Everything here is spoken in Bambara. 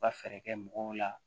U ka fɛɛrɛ kɛ mɔgɔw la